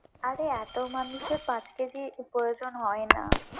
আরে এতো মানুষের পাঁচ কেজির প্রয়োজন হয় না।